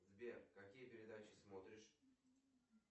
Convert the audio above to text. сбер какие передачи смотришь